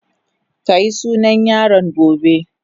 Ka yi sunan yaron gobe.